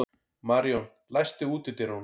Maríon, læstu útidyrunum.